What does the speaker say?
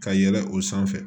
Ka yɛlɛ o sanfɛ